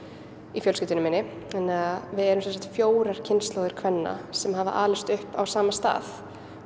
í fjölskyldunni minni þannig að við erum fjórar kynslóðir kvenna sem hafa alist upp á sama stað